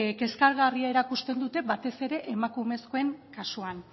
kezkagarri erakusten dute batez ere emakumezkoen kasuan